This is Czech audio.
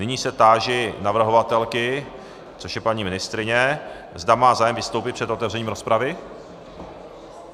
Nyní se táži navrhovatelky, což je paní ministryně, zda má zájem vystoupit před otevřením rozpravy?